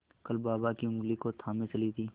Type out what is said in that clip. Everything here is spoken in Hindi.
कल बाबा की ऊँगली को थामे चली थी